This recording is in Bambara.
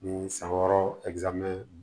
Ni san wɔɔrɔ ze